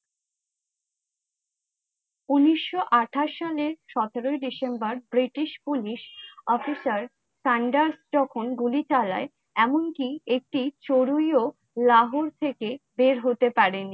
উনিশশো আঠাশ সালে সতেরো ডিসেম্বর, British police officerSandus তখন গুলি চালায় এমনকি একটি চড়ুইও লাহোর থেকে বের হতে পারেনি।